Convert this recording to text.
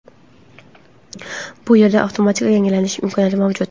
Bu yerda avtomatik yangilanish imkoniyati mavjud.